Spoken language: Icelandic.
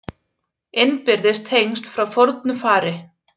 Innbyrðis tengsl frá fornu fari